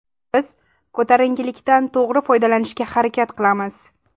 Biz ko‘tarinkilikdan to‘g‘ri foydalanishga harakat qilamiz.